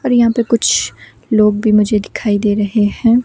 और यहां पे कुछ लोग भी मुझे दिखाई दे रहे हैं।